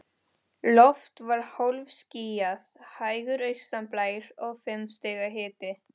Loft var hálfskýjað, hægur austanblær og fimm stiga hiti.